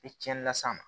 I cɛnni las'a ma